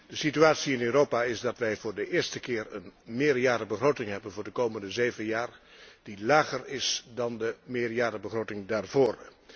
De situatie in Europa is dat wij voor de eerste keer een meerjarenbegroting voor de komende zeven jaar hebben die lager is dan de meerjarenbegroting daarvoor.